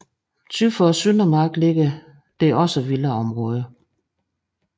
Syd for Søndermarken ligger ligeledes villaområder